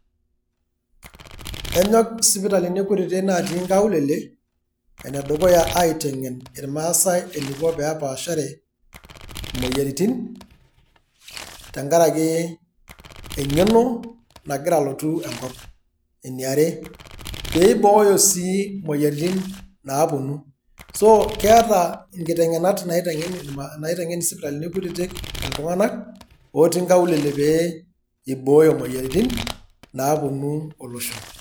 enyok isipitalini kutitik natii inkaulele, ene dukuya aiteng'en itmaasae eneiko tenepaashare imoyiaritin. Tenkaraki eng'eno nagira alotu enkop. eniare, pee eibooyo sii imoyiaritin naapuonu. keeta inkitengenat naiteng'en isipitalini kutitik iltunganak otii inkaulele pee eibooyo imoyiaritin naapuonu olosho.